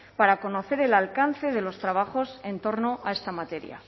para conocer el alcance de los trabajos en torno a esta materia